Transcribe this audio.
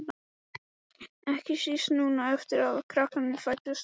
Ekki síst núna eftir að krakkarnir fæddust.